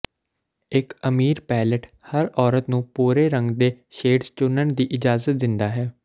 ਇੱਕ ਅਮੀਰ ਪੈਲੇਟ ਹਰ ਔਰਤ ਨੂੰ ਭੂਰੇ ਰੰਗ ਦੇ ਸ਼ੇਡਜ਼ ਚੁਣਨ ਦੀ ਇਜਾਜ਼ਤ ਦਿੰਦਾ ਹੈ